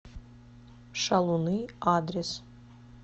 шалуны адрес